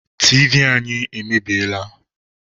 Tiivi anyị emebiela.